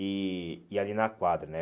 E ali e ali na quadra, né?